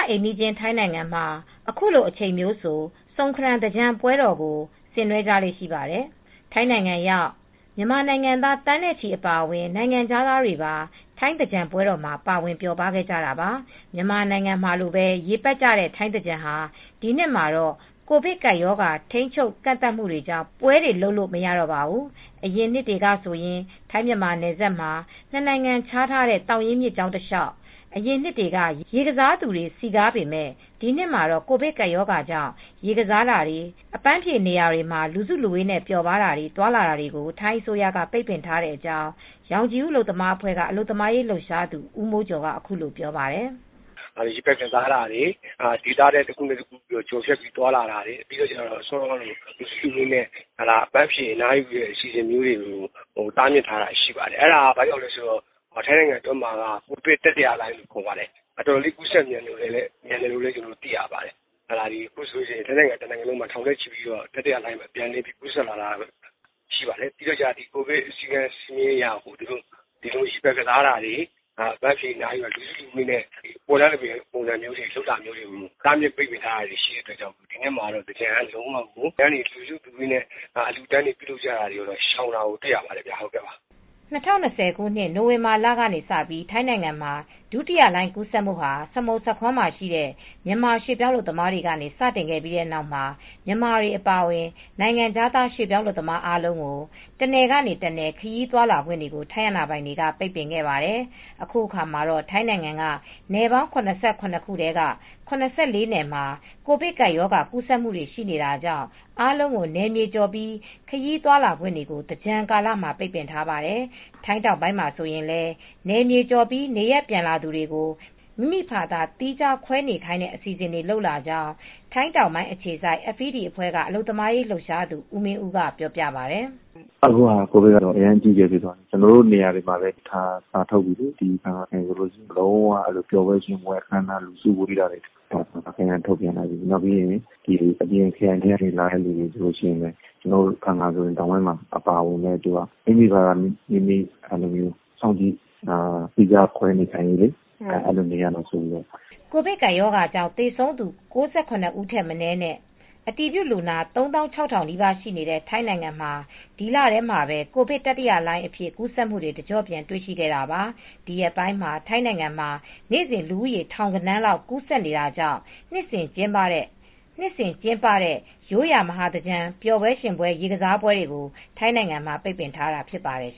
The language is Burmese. အိမ်နီးချင်း ထိုင်းနိုင်ငံမှာ အခုလို အချိန်မျိုးဆို ဆုန်ခရမ် သင်္ကြန်ပွဲတော်ကို ဆင်နွဲကြလေ့ရှိပါတယ်။ ထိုင်းနိုင်ငံရောက် မြန်မာနိုင်ငံသား သန်းနဲ့ချီအပါအဝင် နိုင်ငံခြားသားတွေပါ ထိုင်းသင်္ကြန်ပွဲတော်မှာ ပါဝင်ပျော်ကြတာပါ။ မြန်မာနိုင်ငံမှာလိုပဲ ရေပက်ကြတဲ့ ထိုင်းသင်္ကြန်ဟာ ဒီနှစ်တော့ ကိုဗစ်ကပ်ရောဂါ ထိန်းချုပ် ကန့်သတ်မှုကြောင့် ပွဲတွေ လုပ်လို့ မရပါဘူး။ အရင်နှစ်တွေကဆိုရင် ထိုင်းမြန်မာနယ်စပ်မှာ နှစ်နိုင်ငံ ခြားထားတဲ့ သောင်ရင်းမြစ်ကြောင်းတလျှောက် ရေကစားသူတွေနဲ့ စည်ကားခဲ့ပေမယ့် ဒီနှစ်မှာတော့ ကိုဗစ်ကပ်ရောဂါဘေးကြောင့် ရေကစားတာတွေ၊ အပန်းဖြေနေရာတွေမှာ လူစုလူဝေးနဲ့ပျော်ပါးတာတွေ၊ သွားလာတာတွေကို ထိုင်းအစိုးရက ပိတ်ပင်ထားတဲ့အကြောင်း ရောင်ခြည်ဦးအလုပ်သမားအဖွဲ့က အလုပ်သမားရေးလှုပ်ရှားသူ ဦးမိုးကျော်က အခုလိုပြောပြပါတယ်။ " ရေပက်ကစားတာတွေ၊ ဒေသတခုနဲ့တခု ကျော်ဖြတ်သွားလာတာတွေ၊ အပန်းဖြေအနားယူတဲ့နေရာတွေကို တားမြစ်ထားတာတွေရှိပါတယ်။ ဘာကြောင့်လဲဆိုတော့ ထိုင်းနိုင်ငံမှ ာကိုဗစ်တတိယလှိုင်းလို့ပြောကြတယ်၊ အတော်လေး ကူးစက်မြန်တယ်လို့လည် းသိရပါတယ်။ ထိုင်းနိုင်ငံမှာ ထောင်နဲ့ချီပြီး ကူးစက်တာတွေရှိလာတယ်။ အခုဆိုရင် ကိုဗစ်စည်ကမ်းချက်တွေအရ ရေပက်ကစားတာတွေ၊ အပန်းဖြေ အနားယူတဲ့ နေရာတွေ၊ ပွဲလမ်းသဘင်လုပ်တာကို တားမြစ်တာတွေရှိတဲ့အတွက်ကြောင့် ဒီနှစ်မှာဆိုရင် လူစုလူဝေးနဲ့ အလှူအတန်းတွေကို ပါ ရှောင်တာကိုတွေ့ရပါတယ်။" ၂၀၂၀ ပြည့်နှစ်၊ နိုဝင်ဘာလက ထိုင်းနိုင်ငံမှာ ဒုတိယလှိုင်းကူးစက်မှုဟာ စမုတ်စခွန်းမှာရှိတဲ့ မြန်မာရွှေ့ပြောင်းလုပ်သားတွေဆီကနေ စတင်ခဲ့ပြီးနောက်မှာ မြန်မာတွေအပါအဝင် နိုင်ငံခြား ရွှေ့ပြောင်းလုပ်သားတွေအားလုံးကို တနယ်ကနေ တနယ် ခရီးသွားလာခွင့် ထိုင်းအာဏာပိုင်တွေက ပိတ်ပင်ခဲ့ပါတယ်။ အခုတော့ ထိုင်းနိုင်ငံက ပြည်နယ်ပေါင်း ၇၇ ထဲက ၇၄ ပြည်နယ်မှာ ကိုဗစ်ကပ်ဘေးကူးစက်သူတွေရှိနေတာကြောင့် အားလုံးကို နယ်မြေကျော်ပြီး ခရီးသွားလာခွင့်တွေကို သင်္ကြန်ကာလမှာ ပိတ်ပင်ထားပါတယ်။ ထိုင်းတောင်ပိုင်းမှာဆိုရင်လည်း နယ်မြေကျော်ပြီး နေရပ်ပြန်လာသူတွေကို မိမိဖာသာ သီးခြားခွဲနေခိုင်းတဲ့ အစီစဉ်တွေလုပ်လာကြောင်း ထိုင်းတောာင်ပိုင်းအခြေစိုက် FED အဖွဲ့က အလုပ်သမားရေးလုှပ်ရှားသူ ဦးမင်းဦးက ပြောပါတယ်။ "အခုက ကိုဗစ်က အရမ်းကိုအကြီးအကျယ်ဖြစ်သွားတယ်။ ကျနော်တို့ နေရာတွေမှာလည်း စာထုတ်ထားတယ်၊ ပျော်ပွဲရွှင်ပွဲတွေ အခမ်းအနားတွေ စုဝေးတာမလုပ်ဖို့၊ ခရိုင်အတွင်းမှ ာထုတ်ပြန်ထားတယ်၊ ခရိုင်အတွင်းကို အပြင်ခရိုင်က ခရီးသွားလာတဲ့သူတွေဆိုရင်လည်း ကျနော်တို့ ဖန်ငခရိုင်အပါအဝင် တောင်ပိုင်းမှာ မိမိဖာသာ သီးခြားခွဲနေရမယ်ဆိုတဲ့ အစီစဉ်တွေပါတယ်။" ကိုဗစ်ကပ်ရောဂါကြောင့် သေဆုံးသူ ၉၇ ဦးထက်မနည်းနဲ့ အတည်ပြုလူနာ ၃၆,၀၀၀ နီးပါးရှိနေတဲ့ ထိုင်းနိုင်ငံမှာ ဒီလထဲမှာပဲ ကိုဗစ်တတိယလှိုင်းအဖြစ် ကူးစက်မှုတွေ တကျော့ပြန် တွေ့ရှိခဲ့တာပါ။ ဒီရက်ပိုင်း ထိုင်းနိုင်ငံမှာ နေစဉ်လူဦးရေ ထောင်ဂဏန်းလောက် ကူးစက်နေတာကြောင့် နှစ်စဉ်ကျင်းပတဲ့ ရိုးရာမဟာသင်္ကြန်ပျော်ပွဲရွင်ပွဲ ရေကစားပွဲတွေကို ထိုင်းနိုင်ငံမှာ ပိတ်ပင်ထားတာဖြစ်ပါတယ်